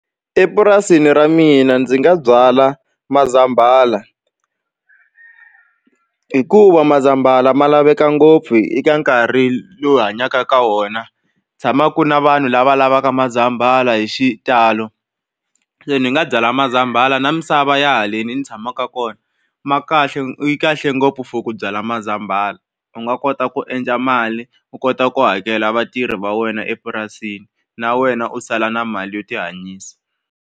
Epurasini ra mina ndzi nga byala mazambala hikuva mazambala ma laveka ngopfu eka nkarhi lowu hi hanyaka ka wona tshamaku na vanhu lava lavaka mazambala hi xitalo se ni nga byala mazambala na misava ya haleni ni tshamaka kona ma kahle yi kahle ngopfu for ku byala mazambala u nga kota ku endla mali u kota ku hakela vatirhi va wena epurasini na wena u sala na mali yo tihanyisa.